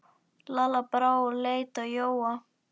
Lalla brá og leit á Jóa.